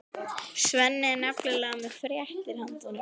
Svenni er nefnilega með fréttir handa honum.